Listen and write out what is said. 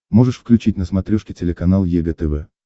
можешь включить на смотрешке телеканал егэ тв